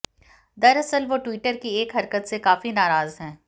दरअसल वो ट्विटर की एक हरकत से काफी नाराज हैं